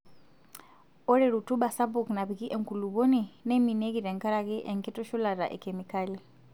Ore rutuba sapuk napiki enkulupuoni neiminieki tenkaraki enkitushulata ekemikali.